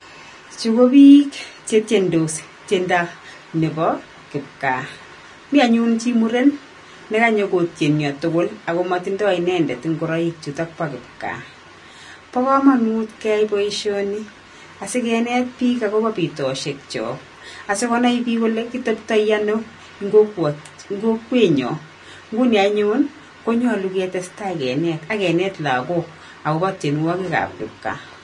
Chu ko biik chetiendos tiendo nebo kipgaa. Mi anyun chi Muren, nekanyokotienio tugul ako matindoi inendet ngoroik chuto bo kipgaa. Bo komonut keyai boisioni asikineet biik agobo biitosiekyok asikonai biik kole kiteptoi ano eng' kokwenyon. Nguni anyun, konyolu ketestai kineet akineet lagok agobo tienwogikab kipgaa.